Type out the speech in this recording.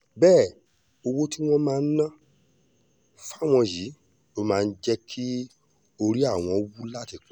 bẹ́ẹ̀ owó tí wọ́n ń ná fáwọn yìí ló máa ń jẹ́ kí orí àwọn wú láti kọrin